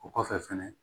O kɔfɛ fɛnɛ